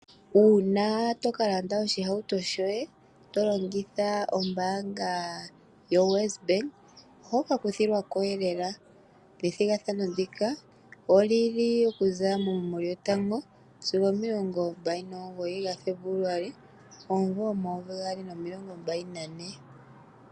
Uuna toka landa oshihauto shoye, to longitha ombaanga yo Wes bank, oho ka kuthilwa ko elela ethigathano ndika oli li oku za mu 01-29 Febuluali 2024.